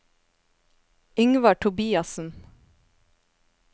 Yngvar Tobiassen